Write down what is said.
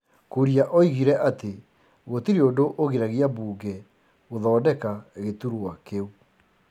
Kuria oigire atĩ gũtirĩ ũndũ ũgiragia mbunge gũthondeka gĩtũrwa kĩu.